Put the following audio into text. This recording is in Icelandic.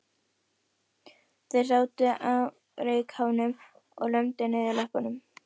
Þeir sátu á reykháfnum og lömdu niður löppunum.